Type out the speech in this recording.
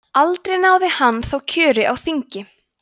aldrei náði hann þó kjöri á þing